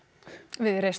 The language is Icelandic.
viðreisn